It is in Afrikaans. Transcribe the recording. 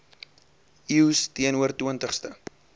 eeus teenoor twintigste